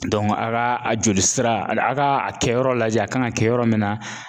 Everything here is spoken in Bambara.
a ka a jolisira a ka a kɛyɔrɔ lajɛ a kan ka kɛ yɔrɔ min na